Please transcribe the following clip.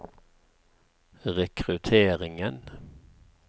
rekrutteringen